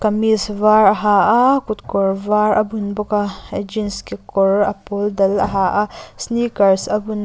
kamis var a ha a kut kawr var a bun bawk a jean kekawr a pawl dal a ha a sneakers a bun a.